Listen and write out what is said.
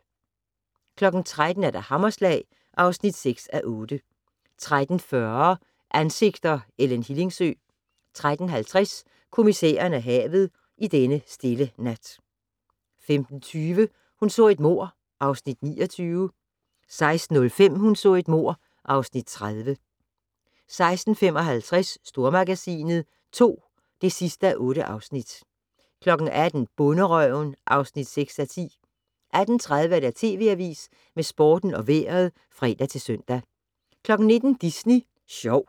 13:00: Hammerslag (6:8) 13:40: Ansigter: Ellen Hillingsø 13:50: Kommissæren og havet: I denne stille nat 15:20: Hun så et mord (Afs. 29) 16:05: Hun så et mord (Afs. 30) 16:55: Stormagasinet II (8:8) 18:00: Bonderøven (6:10) 18:30: TV Avisen med Sporten og Vejret (fre-søn) 19:00: Disney Sjov